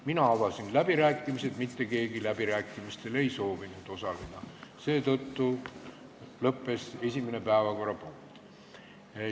Mina avasin läbirääkimised, aga mitte keegi läbirääkimistel osaleda ei soovinud, seetõttu esimene päevakorrapunkt lõppes.